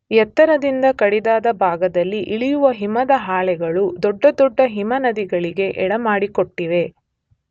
ಎತ್ತರದಿಂದ ಕಡಿದಾದ ಭಾಗದಲ್ಲಿ ಇಳಿಯುವ ಹಿಮದ ಹಾಳೆಗಳು ದೊಡ್ಡ ದೊಡ್ಡ ಹಿಮನದಿಗಳಿಗೆ ಎಡೆಮಾಡಿಕೊಟ್ಟಿವೆ.